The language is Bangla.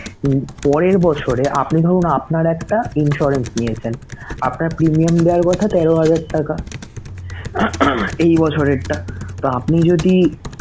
পরের বছরে আপনি ধরুন আপনার একটা insurance নিয়েছেনআপনার premium দেয়ায় কথা তেরো হাজার টাকা এই বছরের টা, তো আপনি যদি